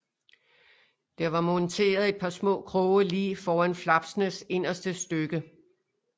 Der var monteret et par små kroge lige foran flapsnes inderste stykke